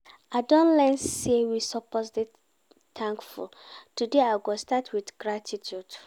I don learn sey we suppose dey thankful, today I go start wit gratitude.